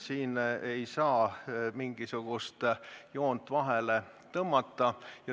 Siin ei saa mingisugust joont vahele tõmmata.